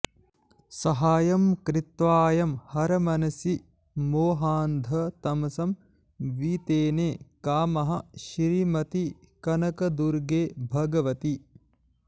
सहायं कृत्वायं हरमनसि मोहान्धतमसं वितेने कामः श्रीमति कनकदुर्गे भगवति